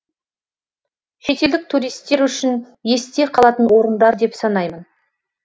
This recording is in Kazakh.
шетелдік туристер үшін есте қалатын орындар деп санаймын